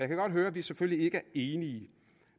kan godt høre at vi selvfølgelig ikke er enige